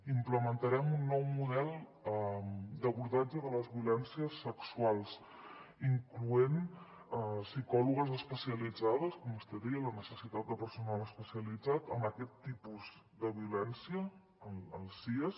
implementarem un nou model d’abordatge de les violències sexuals incloent psicòlogues especialitzades com vostè deia la necessitat de personal especialitzat en aquest tipus de violència als siads